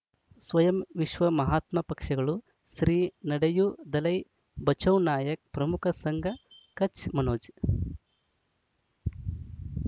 ಸ್ವಯಂ ವಿಶ್ವ ಮಹಾತ್ಮ ಪಕ್ಷಗಳು ಶ್ರೀ ನಡೆಯೂ ದಲೈ ಬಚೌ ನಾಯಕ್ ಪ್ರಮುಖ ಸಂಘ ಕಚ್ ಮನೋಜ್